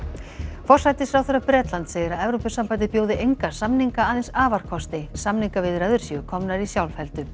forsætisráðherra Bretlands segir að Evrópusambandið bjóði enga samninga aðeins afarkosti samningaviðræður séu komnar í sjálfheldu